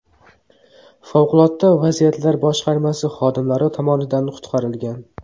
Favqulodda vaziyatlar boshqarmasi xodimlari tomonidan qutqarilgan .